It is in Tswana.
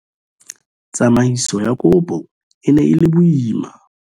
Tsamaiso ya kopo e ne e le boima.